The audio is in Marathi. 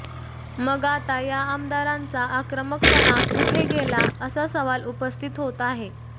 मग आता या आमदारांचा आक्रमकपणा कुठे गेला असा सवाल उपस्थित होत आहे